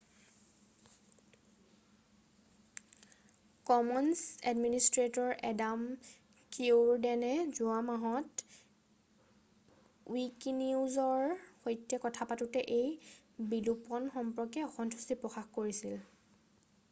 Commons administrator Adam Cuerden যোৱা মাহত উইকিনিউজৰ সৈতে কথা পাতোঁতে এই বিলোপণ সম্পৰ্কে অসন্তুষ্টি প্ৰকাশ কৰে